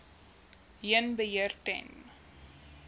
heen beheer ten